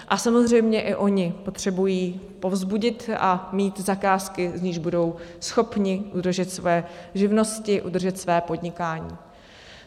A samozřejmě i oni potřebují povzbudit a mít zakázky, z nichž budou schopni udržet svoje živnosti, udržet své podnikání.